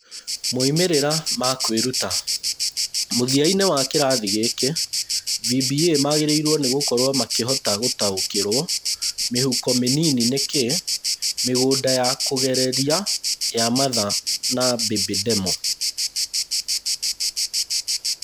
Moimĩrĩro ma kwĩruta: Mũthia-inĩ wa kĩrathi gĩkĩ, VBA magĩrĩirwo nĩgũkorũo makĩhota gũtaũkĩrũo mĩhuko mĩnini nĩ kĩ, mĩgũnda ya kũgereria ya mother and baby demo.